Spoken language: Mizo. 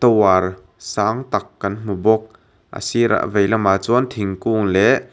sang tak kan hmu bawk a sirah veilamah chuan thingkung leh--